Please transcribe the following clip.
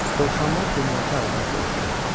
Dovşanlar dinməz-söyləməz aradan sovuşdu.